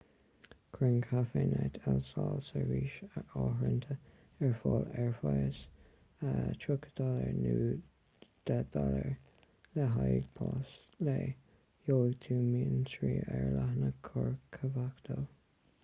cuireann cafenet el sol seirbhís áirithinte ar fáil ar phraghas us$30 nó $10 le haghaidh pas lae; gheobhaidh tú mionsonraí ar a leathanach corcovado